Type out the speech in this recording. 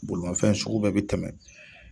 Bolimafɛn sugu bɛɛ bɛ tɛmɛn.